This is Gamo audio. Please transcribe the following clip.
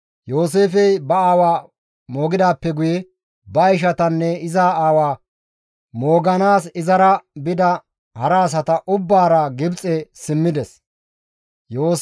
Yooseefey ba aawa moogidaappe guye, ba ishatanne iza aawa mooganaas izara bida hara asata ubbaara Gibxe simmides.